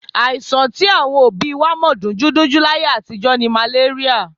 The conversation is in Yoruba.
Àìsàn tí àwọn òbí wa mọ̀ dunjúdunjú láyé àtijọ́ ni màléríà.